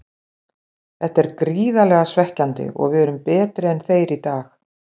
Þetta er gríðarlega svekkjandi og við erum betri en þeir í dag.